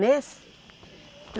Nesse?